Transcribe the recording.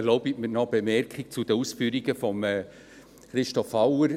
Erlauben Sie mir noch eine Bemerkung zu den Ausführungen von Christoph Auer.